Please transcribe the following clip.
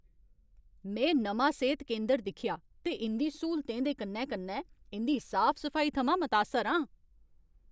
में नमां सेह्त केंदर दिक्खेआ ते इं'दी स्हूलतें दे कन्नै कन्नै इं'दी साफ सफाई थमां मतासर हा।